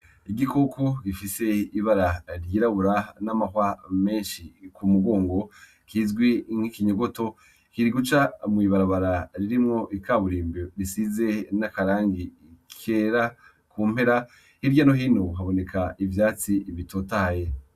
Igikoko gifise ibara ry'irabura, gifise n'amahwa menshi mu mugongo, kizwi nk'ikinyogoto, kiriko gica mw'ibarabara ririmwo ikaburimbo risize n'akarangi kera mu mpera. Hirya no hino haboneka ivyatsi bitotahaye.